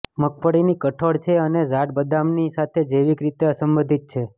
મગફળીની કઠોળ છે અને ઝાડ બદામની સાથે જૈવિક રીતે અસંબંધિત છે